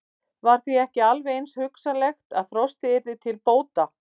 Var því ekki alveg eins hugsanlegt að frostið yrði til bóta?